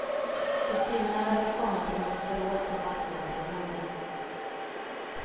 Kostymerna verkar komma från något förråd som vaktmästaren glömde.